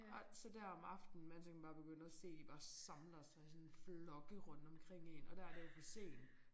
Og så der om aftenen man så kan man bare se begynde at se de bare samler sig i sådan flokke rundt omkring én og der det jo for sent